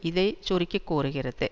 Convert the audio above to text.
இதை சுருக்கி கூறுகிறது